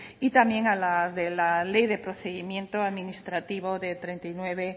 y también a la de la ley de procedimiento administrativo de